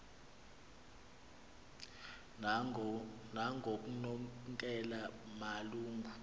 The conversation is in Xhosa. nangoknonkela malu ngu